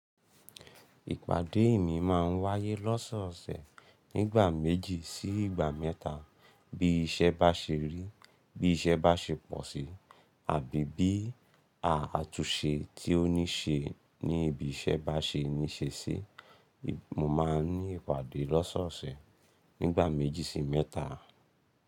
Ìpàdéè mi máa ń wáyé lọ́sọ̀ọ̀sẹ̀ nígbà méjì sí ìgbà mẹ́ta. Bí iṣẹ́ bá ṣe rí, bí iṣẹ́ bá ṣe pọ̀ sí, àbí bí a àtúnṣe tí ó ní ṣe ní ibi iṣẹ́ bá ṣe ní ṣe sí, mo máa ní ìpàdé lọ́sọ̀ọ̀sẹ̀ nígbà méjì sí mẹ́ta.